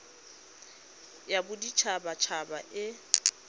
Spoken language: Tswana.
ya bodit habat haba e